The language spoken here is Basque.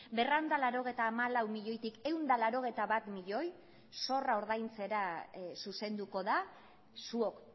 berrehun eta laurogeita hamalau milioitik ehun eta laurogeita bat milioi zorra ordaintzera zuzenduko da zuok